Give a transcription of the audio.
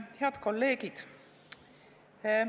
Head kolleegid!